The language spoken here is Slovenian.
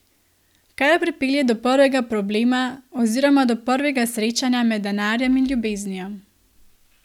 Kar pripelje do prvega problema oziroma do prvega srečanja med denarjem in ljubeznijo.